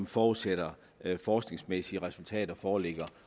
forudsætter at forskningsmæssige resultater foreligger